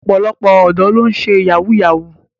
Ọ̀pọ̀lọpọ̀ ọ̀dọ́ ló ń ṣe yahoo yahoo.